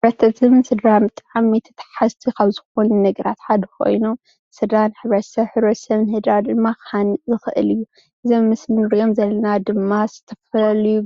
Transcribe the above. ሕብረተሰብ ስድራን ብጣዕሚ ተተሓሓዝቲ ካብ ዝኾኑ ነገራት ሓደ ኾይኖሞ ስድራ ንሕብረተሰብ ሕብረተሰብ ንስድራ ድማ ክሃነፅ ይኽእል እዩ። እዞም ኣብ ምስሊ እንሪኦም ዘለና ድማ ዝተፈላለዩ